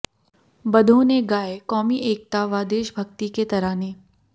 बधाों ने गाए कौमी एकता व देशभक्ति के तराने